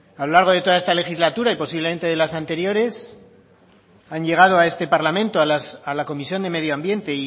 a lo largo de toda esta legislatura y posiblemente de las anteriores han llegado a este parlamento a la comisión de medio ambiente